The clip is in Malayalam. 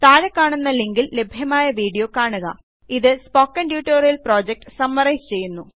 താഴെക്കാണുന്ന ലിങ്കിൽ ലഭ്യമായ വീഡിയോ കാണുക ഇത് സ്പോക്കണ് ട്യൂട്ടോറിയല് പ്രോജക്ട് സമ്മറൈസ് ചെയ്യുന്നു